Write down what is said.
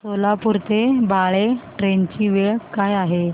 सोलापूर ते बाळे ट्रेन ची वेळ काय आहे